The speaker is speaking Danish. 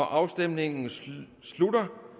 afstemningen slutter